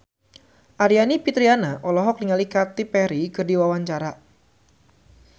Aryani Fitriana olohok ningali Katy Perry keur diwawancara